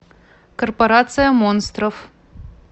корпорация монстров